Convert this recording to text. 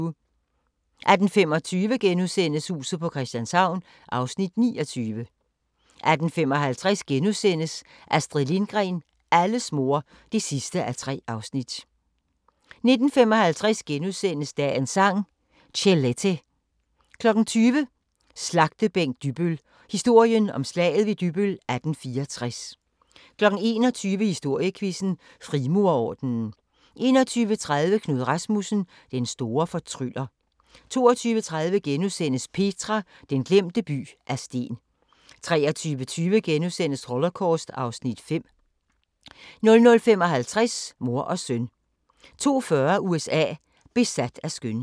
18:25: Huset på Christianshavn (29:84)* 18:55: Astrid Lindgren – alles mor (3:3)* 19:55: Dagens Sang: Chelete * 20:00: Slagtebænk Dybbøl – historien om Slaget ved Dybbøl 1864 21:00: Historiequizzen: Frimurerordenen 21:30: Knud Rasmussen – den store fortryller 22:30: Petra – den glemte by af sten * 23:20: Holocaust (Afs. 5)* 00:55: Mor og søn 02:40: USA: Besat af skønhed